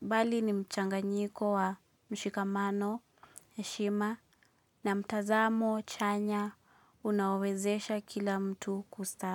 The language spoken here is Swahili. Bali ni mchanganyiko wa mshikamano heshima na mtazamo chanya unaowezesha kila mtu kustaafu.